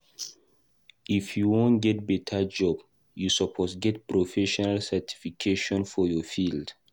If you wan get beta job, you suppose get professional certification for your field.